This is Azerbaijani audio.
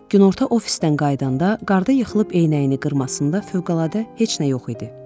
Günorta ofisdən qayıdanda qarda yıxılıb eynəyini qırmasında fövqəladə heç nə yox idi.